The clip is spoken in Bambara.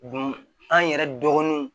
an yɛrɛ dɔgɔninw